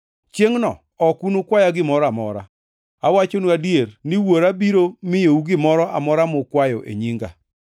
Chiengʼno ok unukwaya gimoro amora. Awachonu adier ni Wuora biro miyou gimoro amora mukwayo e nyinga.